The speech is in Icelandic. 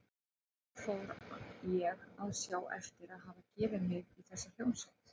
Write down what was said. Og enn fór ég að sjá eftir að hafa gefið mig í þessa hljómsveit.